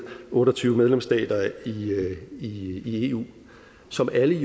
otte og tyve medlemsstater i eu som jo alle